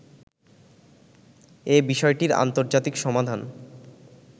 এ বিষয়টির আন্তর্জাতিক সমাধান